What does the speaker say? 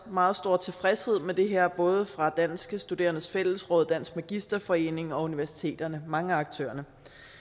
meget stor tilfredshed med det her både fra danske studerendes fællesråd dansk magisterforening og universiteterne mange af aktørerne